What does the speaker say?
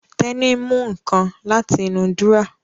Tẹ́ní mú nǹkan láti inú dúrọ́à